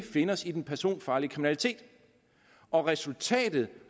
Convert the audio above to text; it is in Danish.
finde os i den personfarlige kriminalitet og resultatet